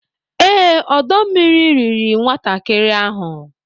Ee, ọdọ mmiri riri nwatakịrị ahụ